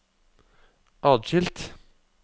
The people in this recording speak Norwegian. atskilt